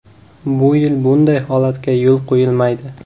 Bu yil bunday holatga yo‘l qo‘yilmaydi.